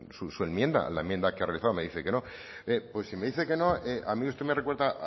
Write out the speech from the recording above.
su enmienda la enmienda que ha realizado me dice que no pues si me dice que no a mí usted me recuerda